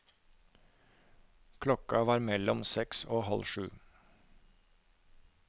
Klokka var mellom seks og halv sju.